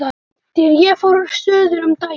Þegar ég fór suður um daginn.